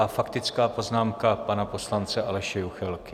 A faktická poznámka pana poslance Aleše Juchelky.